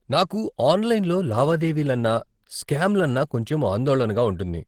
నాకు ఆన్లైన్లో లావాదేవీలన్నా, స్కామ్లు అన్నా కొంచెం ఆందోళనగా ఉంటుంది.